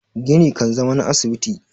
gini kan zama na asibiti